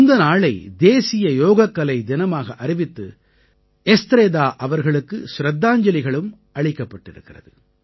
இந்த நாளை தேசிய யோகக்கலை தினமாக அறிவித்து எஸ்த்ராதா அவர்களுக்கு ச்ரத்தாஞ்சலிகளும் அளிக்கப்பட்டிருக்கிறது